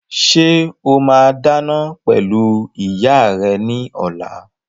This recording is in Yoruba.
Ṣé o máa dáná pẹ̀lú ìyá rẹ ní ọ̀la?